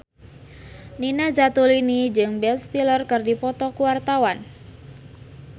Nina Zatulini jeung Ben Stiller keur dipoto ku wartawan